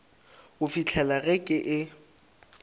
go fihlela ge ke e